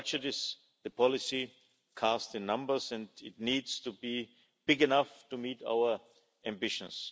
The budget is the policy cast in numbers and it needs to be big enough to meet our ambitions.